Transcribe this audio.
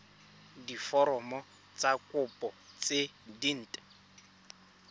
diforomo tsa kopo tse dint